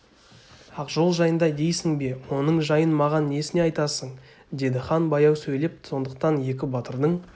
ақжол жайында дейсің бе оның жайын маған несіне айтасың деді хан баяу сөйлеп сондықтан екі батырдың